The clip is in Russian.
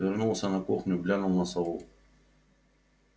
вернулся на кухню глянул на сову